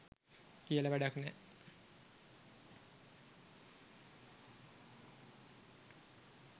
කියලා වැඩක් නෑ.